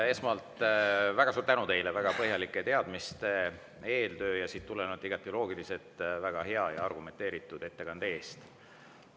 Esmalt väga suur tänu teile väga põhjalike teadmiste, eeltöö ja sellest tulenevalt igati loogilise, väga hea ja argumenteeritud ettekande eest!